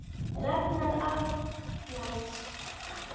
Ragnar Arnalds